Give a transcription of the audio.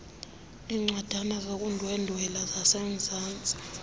iincwadana zokundwendwela zasemzantsi